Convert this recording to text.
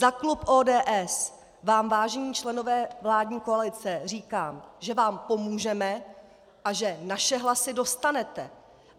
Za klub ODS vám, vážení členové vládní koalice, říkám, že vám pomůžeme a že naše hlasy dostanete.